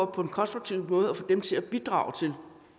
på en konstruktiv måde og få dem til at bidrage til